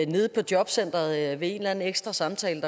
nede på jobcenteret ved en eller anden ekstra samtale